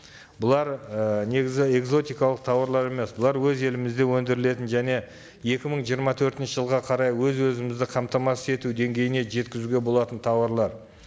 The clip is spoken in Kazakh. бұлар ііі негізі экзотикалық тауарлар емес бұлар өз елімізде өндірілетін және екі мың жиырма төртінші жылға қарай өз өзімізді қамтамасыз ету деңгейіне жеткізуге болатын тауарлар